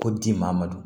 Ko di maa ma dun